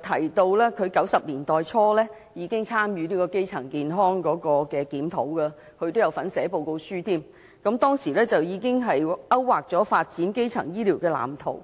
提到她在1990年代初已參與基層醫療檢討，更有份撰寫報告書，當時該報告已勾劃了發展基層醫療的藍圖。